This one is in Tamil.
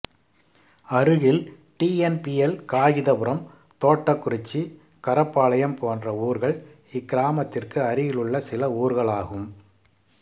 அருகில் டிஎன்பிஎல் காகிதபுரம் தோட்டக்குறிச்சி கரப்பாளையம் போன்ற ஊர்கள் இக்கிராமத்திற்கு அருகிலுள்ள சில ஊர்களாகும்